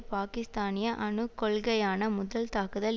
பாக்கிஸ்தானிய அணுக் கொள்கையான முதல் தாக்குதல்